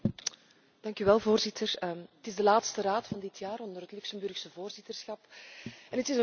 Het is de laatste Raad van dit jaar onder het Luxemburgse voorzitterschap en het is een verschrikkelijk jaar geweest.